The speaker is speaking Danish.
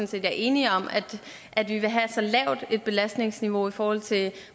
set vi er enige om at vi vil have et så lavt belastningsniveau i forhold til